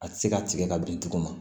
A tɛ se ka tigɛ ka bin tugun